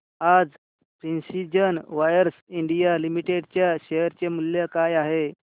आज precision wires India limited च्या share चे मूल्य काय आहे